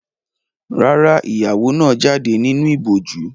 Rárá, ìyàwó náà jáde nínú ìbòjú.